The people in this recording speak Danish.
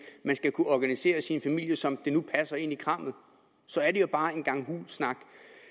man skal kunne organisere sin familie som det nu passer ind i krammet er bare en gang hul snak